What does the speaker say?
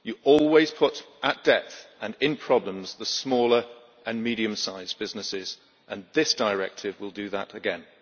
You always put at depth and in problems the smaller and medium sized businesses, and this directive will do that again.